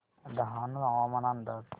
डहाणू हवामान अंदाज